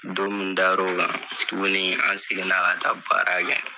Don min dar'o kan tuguni an seginna ka taa baara kɛ.